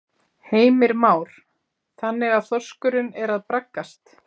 Heimir Már: Þannig að þorskurinn er að braggast?